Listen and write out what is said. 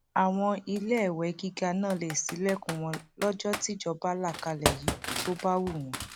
àwọn iléèwé gíga náà lè ṣílẹkùn wọn lọjọ tíjọba là kalẹ yìí tó bá wù wọn